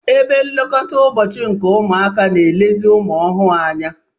Ebe nlekọta ụbọchị nke ụmụaka na-elezi ụmụaha anya.